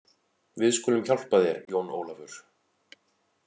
Við skulum hjálpa þér Jón Ólafur.